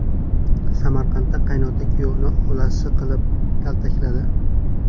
Samarqandda qaynota kuyovini o‘lasi qilib kaltakladi.